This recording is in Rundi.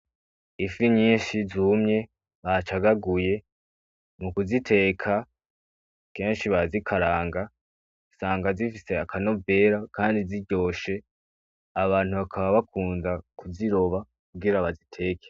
Ifi nyinshi zumye bacagaguye, mu kuziteka kenshi barazikaranga usanga zifise aka novera kandi ziryoshe, abantu bakaba bakunda kuziroba kugira baziteke.